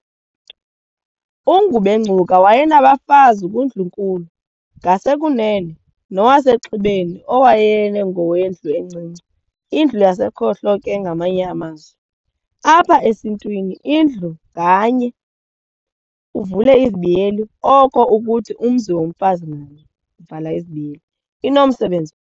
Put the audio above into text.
U-Ngubengcuka wayenabafazi kuNdlu-nkulu, ngasekunene, nowaseXhibeni owayengowendlu encinci indlu yasekhohlo ke ngamanye amazwi. Apha esintwini indlu nganye, Oko ukuthi, umzi womfazi ngamnye, inomsebenzi.